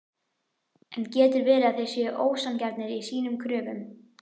En getur verið að þeir séu ósanngjarnir í sínum kröfum?